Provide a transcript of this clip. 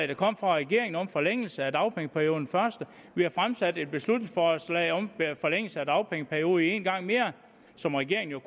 der kom fra regeringen om forlængelse af dagpengeperioden vi har fremsat et beslutningsforslag om forlængelse af dagpengeperioden en gang mere som regeringen